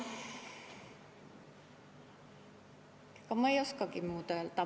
Ega ma ei oskagi muud öelda.